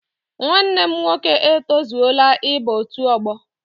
Nwanne m nwoke etozuola ịba otu ọgbọ.